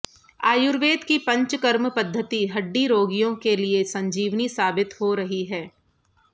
आयुर्वेद की पंचकर्म पद्धति हड्डी रोगियों के लिए संजीवनी साबित हो रही है